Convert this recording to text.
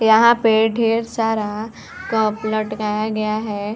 यहाँ पे ढेर सारा कप लटकाया गया है।